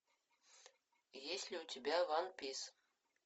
есть ли у тебя ван пис